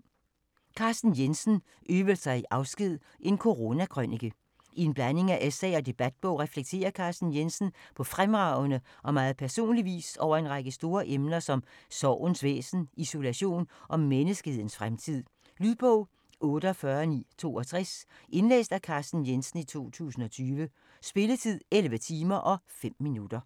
Jensen, Carsten: Øvelser i afsked: en coronakrønike I en blanding af essay og debatbog reflekterer Carsten Jensen på fremragende og meget personlig vis over en række store emner som sorgens væsen, isolation og menneskehedens fremtid. Lydbog 48962 Indlæst af Carsten Jensen, 2020. Spilletid: 11 timer, 5 minutter.